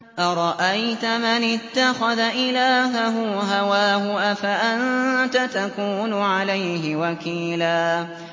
أَرَأَيْتَ مَنِ اتَّخَذَ إِلَٰهَهُ هَوَاهُ أَفَأَنتَ تَكُونُ عَلَيْهِ وَكِيلًا